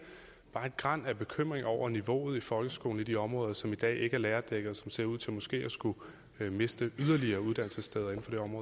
bare et gran af bekymring over niveauet i folkeskolen i de områder som i dag ikke er lærerdækkede og som ser ud til måske at skulle miste yderligere uddannelsessteder